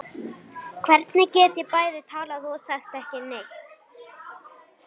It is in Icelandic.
Hvernig get ég bæði talað og sagt ekki neitt?